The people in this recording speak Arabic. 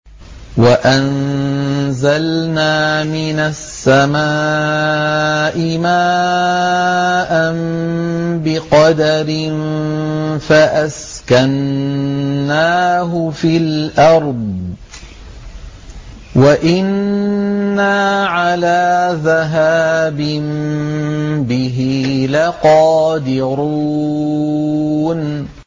وَأَنزَلْنَا مِنَ السَّمَاءِ مَاءً بِقَدَرٍ فَأَسْكَنَّاهُ فِي الْأَرْضِ ۖ وَإِنَّا عَلَىٰ ذَهَابٍ بِهِ لَقَادِرُونَ